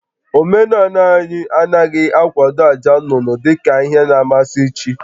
Omenala anyị anaghị akwado àjà nnụnụ dị ka ihe na-amasị chi